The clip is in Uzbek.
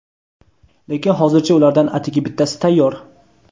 lekin hozircha ulardan atigi bittasi tayyor.